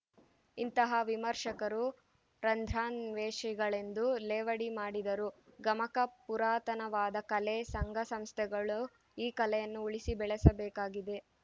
ಇಂತಹ ವಿಮರ್ಶಕರು ರಂಧ್ರಾನ್ವೇಷಿಗಳೆಂದು ಲೇವಡಿ ಮಾಡಿದರು ಗಮಕ ಪುರಾತನವಾದ ಕಲೆ ಸಂಘಸಂಸ್ಥೆಗಳು ಈ ಕಲೆಯನ್ನು ಉಳಿಸಿ ಬೆಳೆಸಬೇಕಾಗಿದೆ